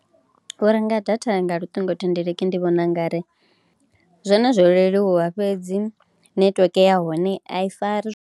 U renga data nga luṱingothendeleki ndi vhona u nga ri zwone zwo leluwa fhedzi netiweke ya hone a i fari zwo.